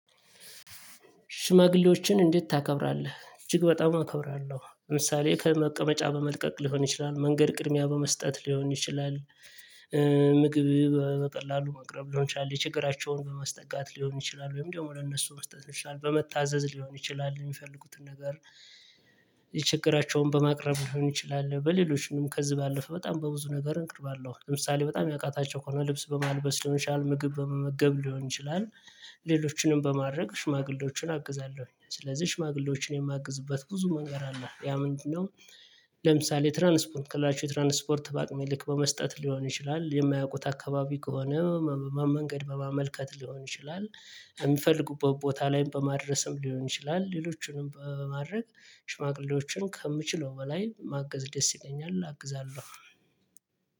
ሽማግሌዎችን እንዴት ታከብራለህ? እጅግ በጣም አከብራለሁ። ለምሳሌ ከመቀመጫ በመልቀቅ ሊሆን ይችላል፣ መንገድ ቅድሚያ በመስጠት ሊሆን ይችላል፣ ምግብ በቀላሉ መቅረብ ሊሆን ይችላል፣ በችግራቸው በመስጠጋት ሊሆን ይችላል፣ ወይም ደግሞ ለእነሱ መስጠት ይችላል፣ በመታዘዝ ሊሆን ይችላል የሚፈልጉትን ነገር የችግራቸውን በማቅረብ ሊሆን ይችላል፣ በሌሎች ምንም ከዚህ ባለፈ በጣም በብዙ ነገር እንቅርባለን። ለምሳሌ በጣም ያቃታቸው ከሆነ ልብስ በማልበስ ልሆን ይችላል። ምግብ በመመገብ ሊሆን ይችላል። ሌሎችንም በማድረግ ሽማግሌዎችን አግዛለሁ። ስለዚህ ሽማግሌዎችን የማግዝበት ብዙ መንገድ አለ። ያ ምንድነው? ለምሳሌ ትራንስፖርት ከለላቸው ትራንስፖርት በአቅመ ልክ በመስጠት ሊሆን ይችላል፣ የማያውቁት አካባቢ ከሆነ መንገድ በማመልከት ሊሆን ይችላል፣ የሚፈልጉት ቦታ ላይም በማድረስም ሊሆን ይችላል። ሌሎቹንም በማድረግ ሽማግሌዎችን ከምችለው በላይ ማገዝ ደስ ይለኛል፣ አግዛለሁ።